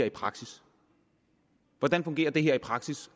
i praksis hvordan fungerer det her i praksis